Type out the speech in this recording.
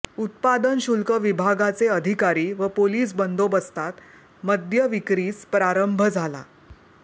उत्पादन शुल्क विभागाचे अधिकारी व पोलिस बंदोबस्तात मद्य विक्रीस प्रारंभ झाला